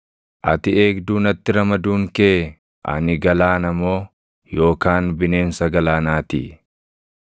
Ati eegduu natti ramaduun kee, ani galaana moo yookaan bineensa galaanaa ti?